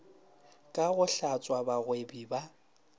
ka go hlatswa bagwebi ba